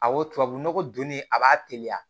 A wo tubabunɔgɔ don ne a b'a teliya